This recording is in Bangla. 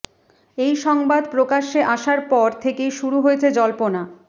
এই সংবাদ প্রকাশ্যে আসার পর থেকেই শুরু হয়েছে জল্পনা